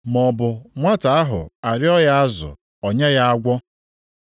Maọbụ, nwata ahụ arịọọ azụ, o nye ya agwọ?